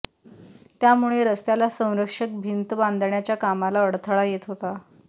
त्यामुळे रस्त्याला संरक्षक भिंत बांधण्याच्या कामला अडथळा येत होता